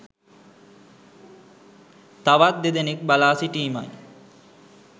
තවත් දෙදෙනෙක් බලා සිටීමයි.